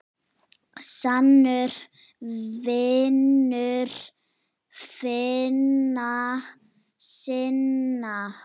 Sannur vinur vina sinna.